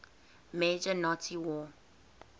major nazi war